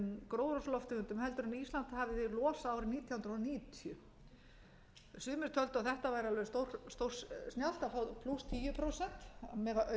gróðurhúsalofttegundum en ísland hafði losað árið nítján hundruð níutíu sumir töldu að þetta væri alveg stórsnjallt að fá plús tíu prósent að mega